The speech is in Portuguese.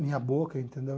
Minha boca, entendeu?